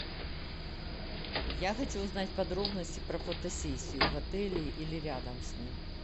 я хочу узнать подробности про фотосессию в отеле или рядом с ним